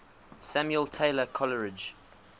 samuel taylor coleridge